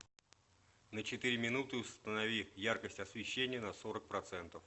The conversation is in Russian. на четыре минуты установи яркость освещения на сорок процентов